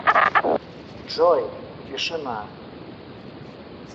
джой тишина